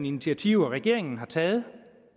initiativer regeringen har taget